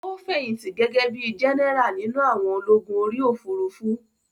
Ó fẹ̀yìntì gẹ́gẹ́ bíi jẹ́nẹ́rà nínú àwọn ológun orí òfurufú